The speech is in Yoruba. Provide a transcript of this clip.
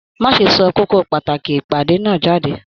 Má ṣe sọ kókó pàtàkì ìpàdé náà jáde!